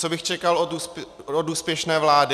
Co bych čekal od úspěšné vlády?